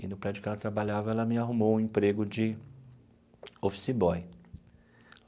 E no prédio que ela trabalhava, ela me arrumou um emprego de office boy.